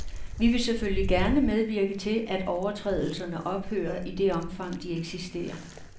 Vi vil selvfølgelig gerne medvirke til, at overtrædelserne ophører i det omfang, de eksisterer.